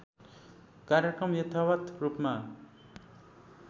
कार्यक्रम यथावत् रूपमा